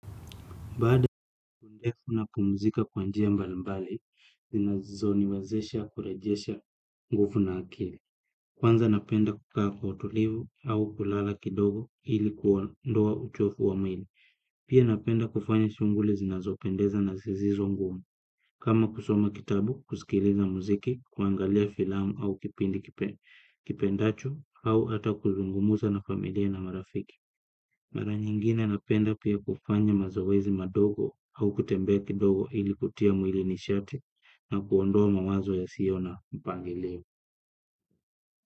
Baada ya siku ndefu napumuzika kwa njia mbalimbali, zinazo niwezesha kurejesha nguvu na akili. Kwanza napenda kukaa kwa utulivu au kulala kidogo ili kuondoa uchovu wa mwili. Pia napenda kufanya shunguli zinazopendeza na zisizo ngumu. Kama kusoma kitabu, kusikiliza muziki, kuangalia filamu au kipindi kipendacho au hata kuzungumuza na familia na marafiki. Mara nyingine napenda pia kufanya mazoezi madogo au kutembea kidogo ili kutia mwili nishati na kuondoa mawazo yasiyo na mpangilio.